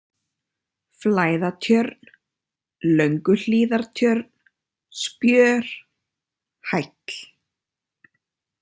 Flæðatjörn, Lönguhlíðartjörn, Spjör, Hæll